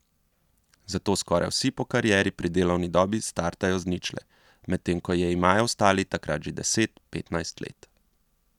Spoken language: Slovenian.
Zato skoraj vsi po karieri pri delovni dobi startajo z ničle, medtem ko je imajo ostali takrat že deset, petnajst let.